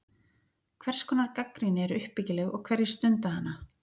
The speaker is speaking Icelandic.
Hvers konar gagnrýni er uppbyggileg og hverjir stunda hana?